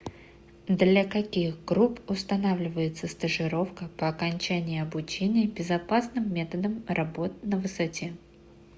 для каких групп устанавливается стажировка по окончании обучения безопасным методам работ на высоте